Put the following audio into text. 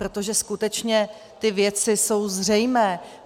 Protože skutečně ty věci jsou zřejmé.